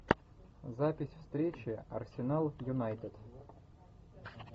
запись встречи арсенал юнайтед